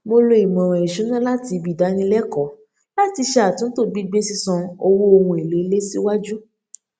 mo lo ìmọràn ìṣúná láti ibi ìdánilẹkọọ láti ṣe àtúntò gbígbé sísan owó ohun èlò ilé ṣíwájú